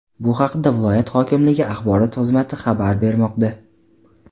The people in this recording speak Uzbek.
Bu haqda viloyat hokimligi axborot xizmati xabar bermoqda.